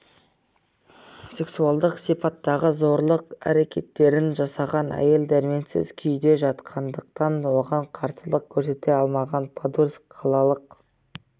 сексуалдық сипаттағы зорлық әрекеттерін жасаған әйел дәрменсіз күйде жатқандықтан оған қарсылық көрсете алмаған подольск қалалық